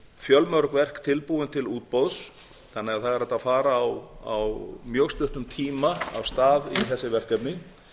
fjölmörg verk tilbúin til útboðs þannig að það er hægt að fara á mjög stuttum tíma af stað í þessi verkefni